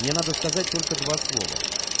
мне надо сказать только два слова